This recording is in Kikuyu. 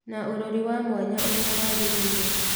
Na ũrori wa mwanya ũrĩa wagĩrĩire